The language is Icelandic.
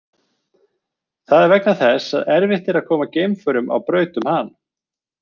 Það er vegna þess að erfitt er að koma geimförum á braut um hann.